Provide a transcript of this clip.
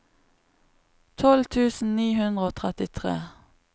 tolv tusen ni hundre og trettitre